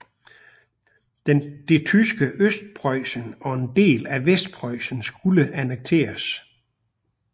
Det tyske Østpreussen og en del af Vestpreussen skulle annekteres